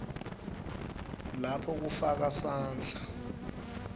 lapho kufaka sandla